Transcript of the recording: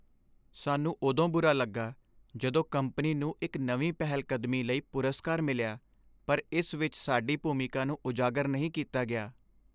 ਸਾਨੂੰ ਉਦੋਂ ਬੁਰਾ ਲੱਗਾ ਜਦੋਂ ਕੰਪਨੀ ਨੂੰ ਇੱਕ ਨਵੀਂ ਪਹਿਲਕਦਮੀ ਲਈ ਪੁਰਸਕਾਰ ਮਿਲਿਆ ਪਰ ਇਸ ਵਿੱਚ ਸਾਡੀ ਭੂਮਿਕਾ ਨੂੰ ਉਜਾਗਰ ਨਹੀਂ ਕੀਤਾ ਗਿਆ।